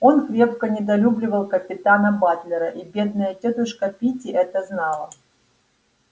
он крепко недолюбливал капитана батлера и бедная тётушка питти это знала